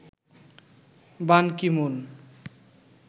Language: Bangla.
বান কি-মুন